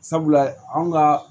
Sabula anw ka